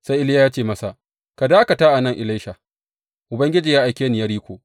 Sai Iliya ya ce masa, Ka dakata a nan Elisha; Ubangiji ya aike ni Yeriko.